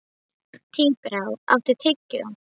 Tíbrá, áttu tyggjó?